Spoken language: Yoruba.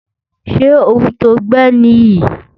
Ṣé ohun to gbẹ́ nì yí?